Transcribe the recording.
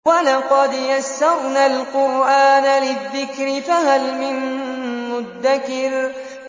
وَلَقَدْ يَسَّرْنَا الْقُرْآنَ لِلذِّكْرِ فَهَلْ مِن مُّدَّكِرٍ